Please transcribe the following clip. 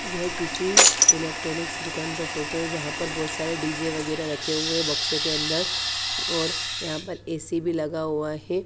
यह किसी इलेक्ट्रॉनिक्स दुकान का फोटो है जहां पर बहुत सारे डी_जे वगैरह रखे हुए है बॉक्सो के अंदर और यहां पर ए_सी भी लगा हुआ है।